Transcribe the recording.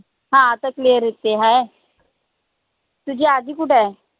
ह आता clear येते हाय तुझी आजी कुठाय?